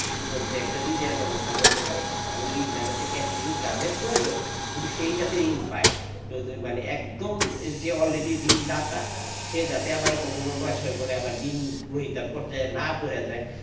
মধ্যে একটা ঋণের ব্যবস্থা করতে পারে এবং ঋণ টা যাতে ensure যাদের প্রয়োজন শুধু সেই যাতে দিন পায় যদি মানে একদম যে all ready ঋণদাতা সে আবার যাতে কখনো নয় ছয় করে আবার ঋণ পর্যায়ে না পরে যাই,